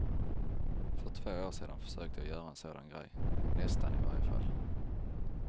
För två år sedan försökte jag göra en sådan grej, nästan i varje fall.